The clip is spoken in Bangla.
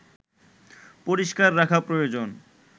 পরিস্কার রাখা প্রয়োজন